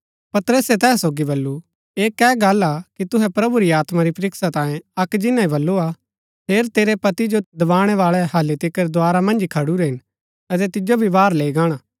पतरसे तैहा सोगी बल्लू ऐह कै गल्ल हा कि तुहै प्रभु री आत्मा री परीक्षा तांयें अक्क जिन्‍ना ही बल्लू हा हेर तेरै पति जो दबाणैवाळै हालि तिकर द्धारा मन्ज ही खडुरै हिन अतै तिजो भी बाहर लैई गाणा